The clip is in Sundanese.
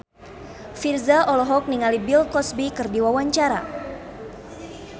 Virzha olohok ningali Bill Cosby keur diwawancara